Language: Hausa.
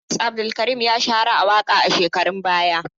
Idris Abdulkarim ya shahara a waƙa a shekarun baya.